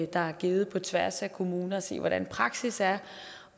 der er givet på tværs af kommuner for at se hvordan praksis er